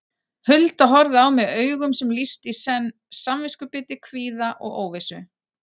Hulda horfði á mig augum sem lýstu í senn samviskubiti, kvíða og óvissu.